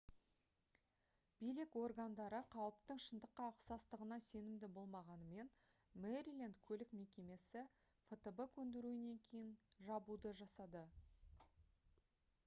билік органдары қауіптің шындыққа ұқсастығына сенімді болмағанымен мэриленд көлік мекемесі фтб көндіруінен кейін жабуды жасады